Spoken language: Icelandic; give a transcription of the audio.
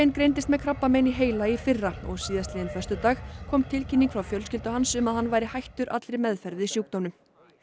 greindist með krabbamein í heila í fyrra og síðastliðinn föstudag kom tilkynning frá fjölskyldu hans um að hann væri hættur allri meðferð við sjúkdómnum